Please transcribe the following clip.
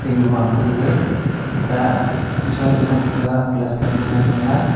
igwa ka gaga itta sonla ngantaga plaster dingma hithangla.